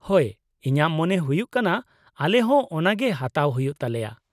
ᱦᱳᱭ, ᱤᱧᱟᱹᱜ ᱢᱚᱱᱮ ᱦᱩᱭᱩᱜ ᱠᱟᱱᱟ ᱟᱞᱮᱦᱚᱸ ᱚᱱᱟᱜᱮ ᱦᱟᱛᱟᱣ ᱦᱩᱭᱩᱜ ᱛᱟᱞᱮᱭᱟ ᱾